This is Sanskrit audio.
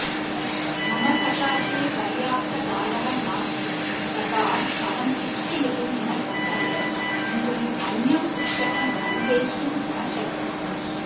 मम सकाशे पर्याप्तकालः नास्ति तथा अहं शिक्षयितुं न इच्छामि किन्तु अन्यं शिक्षकम् अनवेष्टुं न शक्नोमि